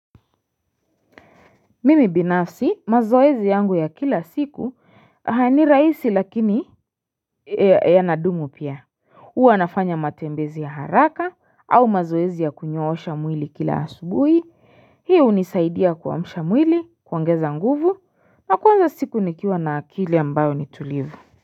Mimi binafsi mazoezi yangu ya kila siku ni rahisi lakini ya nadumu pia Uwa nafanya matembezi ya haraka au mazoezi ya kunyoosha mwili kila asubui hii unisaidia kua msha mwili kuongeza nguvu na kwanza siku nikiwa na akili ambayo ni tulivu.